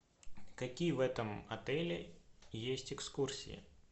какие в этом отеле есть экскурсии